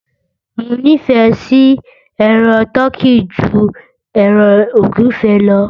Mo nífẹ̀ẹ́ sí ẹran tọ́kì ju ẹran ògúnfe lọ